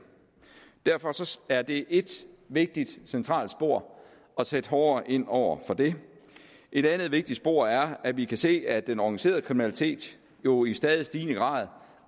derfor er det et vigtigt centralt spor at sætte hårdere ind over for det et andet vigtigt spor er at vi kan se at den organiserede kriminalitet jo i stadig stigende grad